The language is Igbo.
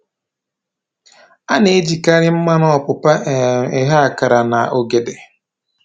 A na-ejikarị mmanụ ọpụpa um e ghe akara na ogede